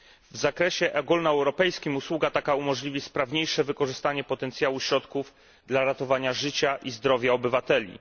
W zakresie ogólnoeuropejskim usługa taka umożliwi sprawniejsze wykorzystanie potencjału środków dla ratowania życia i zdrowia obywateli.